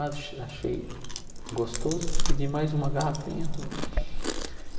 Ach achei gostoso, pedi mais uma garrafinha.